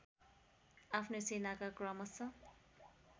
आफ्नो सेनाका क्रमश